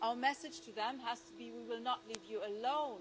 Our message to them has to be we will not leave you alone.